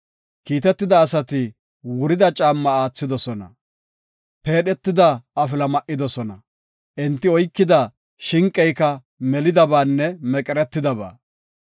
Kiitetida asati wurida caamma aathidosona; peedhetida afila ma7idosona; enti oykida shinqeyka melidabaanne meqertidaba.